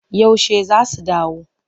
Yaushe za su dawo?